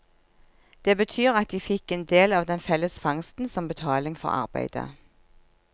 Det betyr at de fikk en del av den felles fangsten som betaling for arbeidet.